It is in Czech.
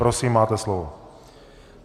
Prosím máte slovo.